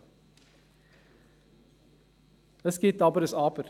Allerdings gibt es ein Aber: